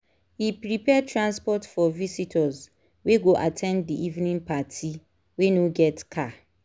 e prepare transport for visitors wey go at ten d d evening party wey no get car